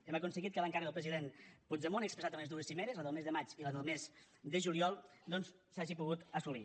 hem aconseguit que l’encàrrec del president puigdemont expressat en les dues cimeres en la del mes de maig i la del mes de juliol doncs s’hagi pogut assolir